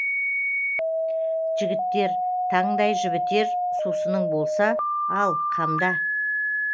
жігіттер таңдай жібітер сусының болса ал қамда